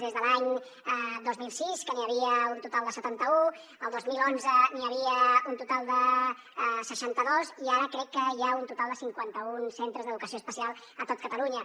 des de l’any dos mil sis que n’hi havia un total de setanta un el dos mil onze n’hi havia un total de seixanta dos i ara crec que hi ha un total de cinquanta un centres d’educació especial a tot catalunya